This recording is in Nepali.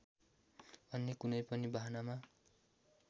अन्य कुनै पनि बहानामा